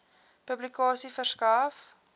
publikasie verskaf